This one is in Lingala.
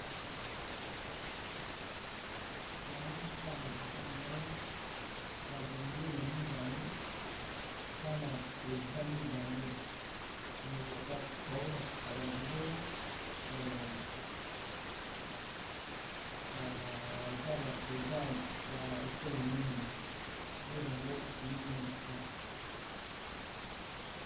Na moni awa liboso na ngai babendele mibale na ba president mibale me baolakisa bango baza ba president ya ekolo nini nde bango nomona awa.